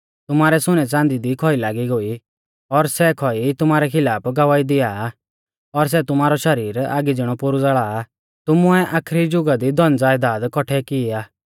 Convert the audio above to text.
तुमारै सुनैच़ांदी दी खौई लागी गोई और सै खौई तुमारै खिलाफ गवाही दिया आ और सै तुमारौ शरीर आगी ज़िणौ पोरु ज़ाल़ा आ तुमुऐ आखरी जुगा दी धनज़यदाद कौट्ठै कि ई आ